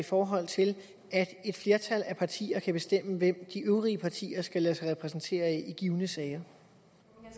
i forhold til at et flertal af partier kan bestemme hvem de øvrige partier skal lade sig repræsentere af i givne sager